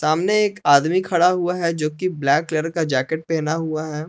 सामने एक आदमी खड़ा हुआ है जो कि ब्लैक कलर का जैकेट पहना हुआ है।